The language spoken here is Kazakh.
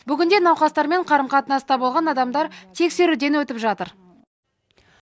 бүгінде науқастармен қарым қатынаста болған адамдар тексеруден өтіп жатыр